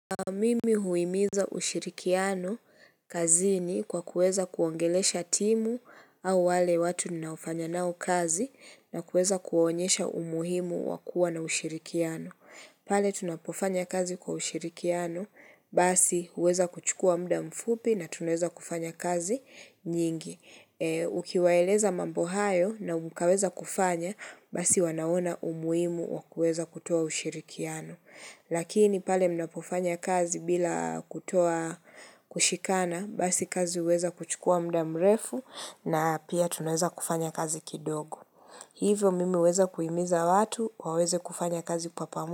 Mimi huimiza ushirikiano kazini kwa kuweza kuongelesha timu au wale watu ninaufanya nao kazi na kuweza kuonyesha umuhimu wakua na ushirikiano pale tunapofanya kazi kwa ushirikiano basi huweza kuchukua muda mfupi na tuneza kufanya kazi nyingi Ukiwaeleza mambo hayo na mukaweza kufanya, basi wanaona umuhimu wakuweza kutoa ushirikiano Lakini pale mnapofanya kazi bila kutoa kushikana Basi kazi uweza kuchukua muda mrefu na pia tunaweza kufanya kazi kidogo Hivyo mimi uweza kuimiza watu waweze kufanya kazi.